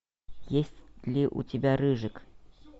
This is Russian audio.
есть ли у тебя рыжик